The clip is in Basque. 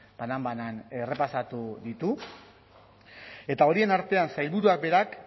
banan banan errepasatu ditu eta horien artean sailburuak berak